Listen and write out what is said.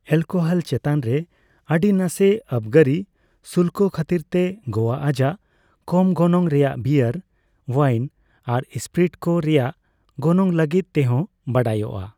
Alcohol ᱪᱮᱛᱟᱱ ᱨᱮ ᱟᱹᱰᱤ ᱱᱟᱥᱮ ᱟᱵᱽᱜᱟᱨᱤ ᱥᱩᱞᱠᱚ ᱠᱷᱟᱹᱛᱤᱨ ᱛᱮ ᱜᱳᱣᱟ ᱟᱡᱟᱜ ᱠᱚᱢ ᱜᱚᱱᱚᱝ ᱨᱮᱭᱟᱜ ᱵᱤᱭᱟᱨ, ᱳᱣᱟᱭᱤᱱ ᱟᱨ ᱥᱯᱤᱨᱤᱴ ᱠᱚ ᱨᱮᱭᱟᱜ ᱜᱚᱱᱚᱝ ᱞᱟᱹᱜᱤᱫ ᱛᱮᱦᱚᱸ ᱵᱟᱰᱟᱭᱚᱜᱼᱟ ᱾